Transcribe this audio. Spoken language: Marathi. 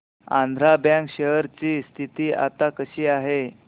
आंध्रा बँक शेअर ची स्थिती आता कशी आहे